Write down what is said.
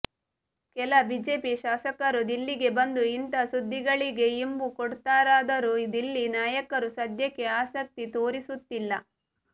ಕೆಲ ಬಿಜೆಪಿ ಶಾಸಕರು ದಿಲ್ಲಿಗೆ ಬಂದು ಇಂಥ ಸುದ್ದಿ ಗಳಿಗೆ ಇಂಬು ಕೊಡುತ್ತಾರಾದರೂ ದಿಲ್ಲಿ ನಾಯಕರು ಸದ್ಯಕ್ಕೆ ಆಸಕ್ತಿ ತೋರಿಸುತ್ತಿಲ್ಲ